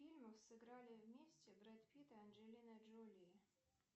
фильмах сыграли вместе брэд питт и анджелина джоли